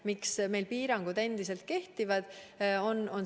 Miks meil piirangud endiselt kehtivad?